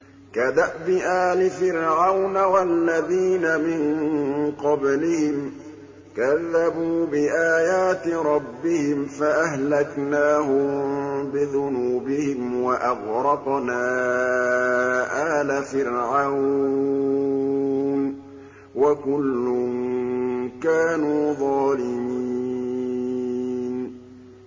كَدَأْبِ آلِ فِرْعَوْنَ ۙ وَالَّذِينَ مِن قَبْلِهِمْ ۚ كَذَّبُوا بِآيَاتِ رَبِّهِمْ فَأَهْلَكْنَاهُم بِذُنُوبِهِمْ وَأَغْرَقْنَا آلَ فِرْعَوْنَ ۚ وَكُلٌّ كَانُوا ظَالِمِينَ